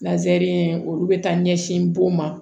olu bɛ taa ɲɛsin bon ma